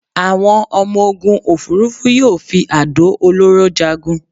Àwọn ọmọ-ogun òfúrufú yóò fi àdó olóró jagun